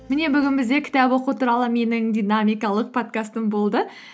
міне бүгін бізде кітап оқу туралы менің динамикалық подкастым болды